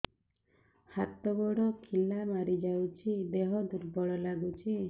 ହାତ ଗୋଡ ଖିଲା ମାରିଯାଉଛି ଦେହ ଦୁର୍ବଳ ଲାଗୁଚି